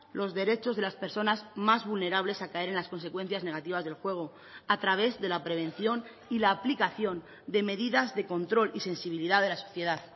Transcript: los derechos de las personas más vulnerables a caer en las consecuencias negativas del juego a través de la prevención y la aplicación de medidas de control y sensibilidad de la sociedad